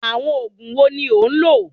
Àwọn òògùn wo ni ò ń lò?